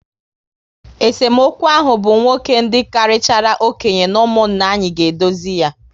Esemokwu ahụ bụ nwoke dị karịchara okenye n'umunna anyị ga edozi yá